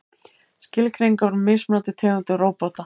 Skilgreiningar á mismunandi tegundum róbóta.